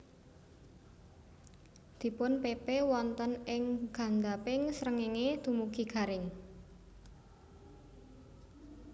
Dipunpepe wonten ing ngandhaping srengéngé dumugi garing